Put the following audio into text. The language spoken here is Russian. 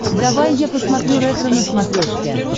давай я посмотрю ретро на смотрешке